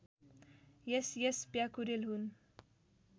SS Pyakurel हुन्